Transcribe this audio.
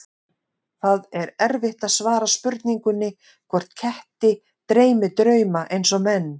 Það er erfitt að svara spurningunni hvort ketti dreymi drauma eins og menn.